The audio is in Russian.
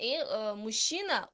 и мужчина